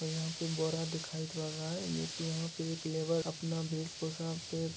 और यहाँ पे बोरा दिखाई पड़ रहा है जोकी यहाँ पे एक लेबर अपना भेष-भूसा पे --